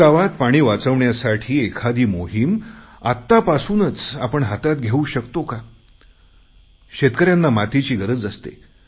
गावागावात पाणी वाचवण्यासाठी एखादी मोहीम आत्तापासूनच आपण हातात घेऊ शकतो का शेतकऱ्यांना मातीची गरज असते